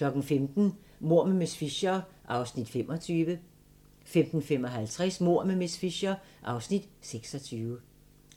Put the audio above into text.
15:00: Mord med miss Fisher (25:13) 15:55: Mord med miss Fisher (26:13)